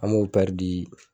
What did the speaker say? An m'o di